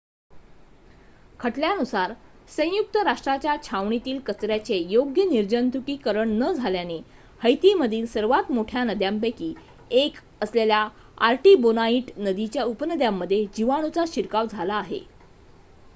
खटल्यानुसार संयुक्त राष्ट्रांच्या छावणीतील कचऱ्याचे योग्य निर्जंतुकीकरण न झाल्याने हैतीमधील सर्वात मोठ्या नद्यांपैकी एक असलेल्या आर्टिबोनाइट नदीच्या उपनद्यांमध्ये जिवाणूचा शिरकाव झाला आहे